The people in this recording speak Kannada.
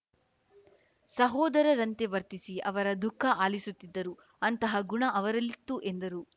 ಸಹೋದರರಂತೆ ವರ್ತಿಸಿ ಅವರ ದುಃಖ ಆಲಿಸುತ್ತಿದ್ದರು ಅಂತಹ ಗುಣ ಅವರಲ್ಲಿತ್ತು ಎಂದರು